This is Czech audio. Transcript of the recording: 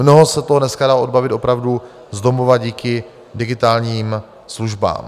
Mnoho se toho dneska dá odbavit opravdu z domova díky digitálním službám.